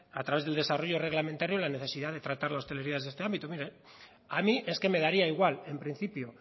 a través del desarrollo reglamentario la necesidad de tratar la hostelería desde este ámbito a mí es que me daría igual en principio